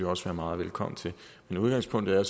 også være meget velkommen til men udgangspunktet er